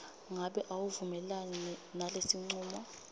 ngabe awuvumelani nalesincumo